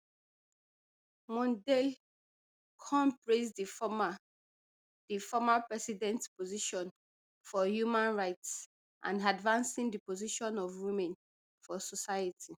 mondale kon praise di former di former president position for human rights and advancing di position of women for society